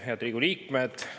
Head Riigikogu liikmed!